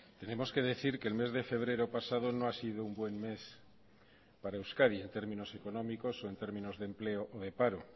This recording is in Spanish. tenemos que decir que el mes de febrero pasado no ha sido un buen mes para euskadi en términos económicos o en términos de empleo o de paro